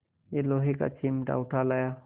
यह लोहे का चिमटा उठा लाया